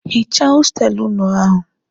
Hichaa hostelụ ụnụ ahụ!